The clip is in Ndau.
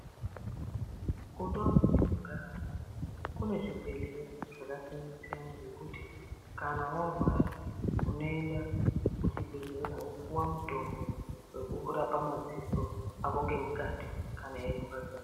Kundau dzatinogara munomu kune zvibhedhlera zvakasiyana-siyana ngekuti kana warwara unoenda kuzvibhedhlera wopuwa mutombo wekurapa maziso akongemukati kana eirwadza.